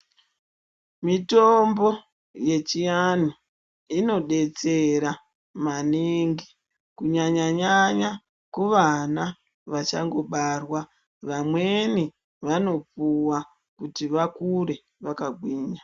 Mitombo yechianhu inobetsera maningi kunyanyanya kuvana vachangobarwa vamweni vanopuwa kuti vakure vakagwinya .